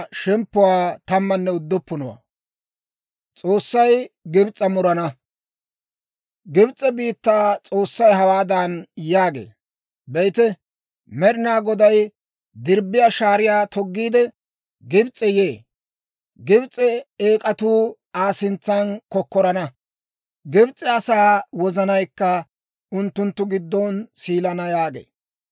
Gibs'e biittaa S'oossay hawaadan yaagee; «Be'ite, Med'inaa Goday dirbbiyaa shaariyaa toggiide, Gibs'e yee. Gibs'e eek'atuu Aa sintsan kokkorana; Gibs'e asaa wozanaykka unttunttu giddon siilana» yaagee.